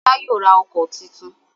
Fola yóò rà ọkọ́ títún.